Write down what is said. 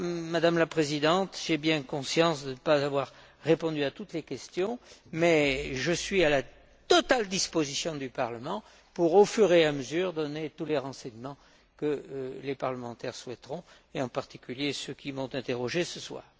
Madame la Présidente, j'ai bien conscience de ne pas avoir répondu à toutes les questions mais je suis à la totale disposition du Parlement pour, au fur et à mesure, donner tous les renseignements que les parlementaires souhaiteront, et en particulier ceux qui m'ont interrogé ce soir.